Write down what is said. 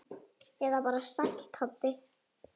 Eða bara Sæll Tobbi?